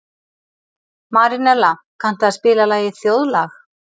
Marínella, kanntu að spila lagið „Þjóðlag“?